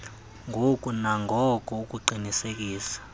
ngoko nangoko ukuqinisekisa